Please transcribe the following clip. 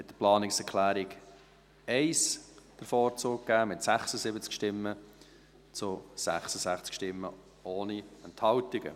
Sie haben der Planungserklärung 1 den Vorzug gegeben, mit 76 zu 66 Stimmen ohne Enthaltungen.